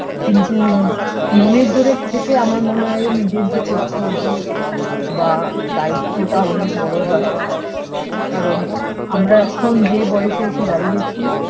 কিন্তু মনের জোরের থেকে আমার মনে হয়ে নিজের যে কর্তব্য বা দায়িত্বটা অনেক বড়ো হয় কারণ আমরা এখন যে বয়সে এসে দাঁড়িয়েছি